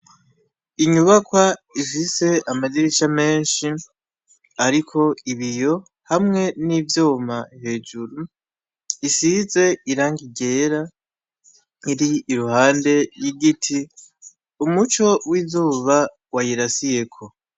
Inyubakwa ifise amadirisha menshi, ariko ibiyo, hamwe n'ivyuma hejuru, risize irangi ryera, iri iruhande y'igiti, umuco w'izuba wayirasiyeko.